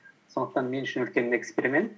сондықтан мен үшін үлкен эксперимент